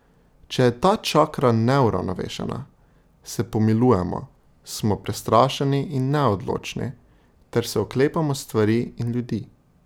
Če je ta čakra neuravnovešena, se pomilujemo, smo prestrašeni in neodločni ter se oklepamo stvari in ljudi ...